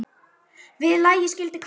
Við lagi skildi Kári brá.